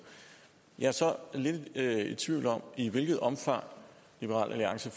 jeg er så lidt i tvivl om i hvilket omfang liberal alliance